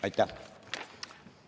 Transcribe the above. Aitäh!